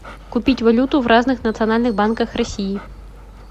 купить валюту в разных национальных банках россии